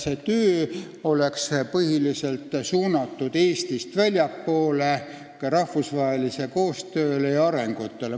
See töö oleks põhiliselt suunatud Eestist väljapoole, see hõlmaks ka rahvusvahelist koostööd ja arengut.